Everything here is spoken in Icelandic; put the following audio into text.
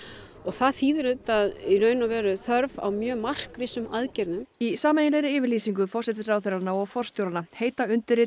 og það þýðir auðvitað þörf á mjög markvissum aðgerðum í sameiginlegri yfirlýsingu forsætisráðherranna og forstjóranna heita undirrituð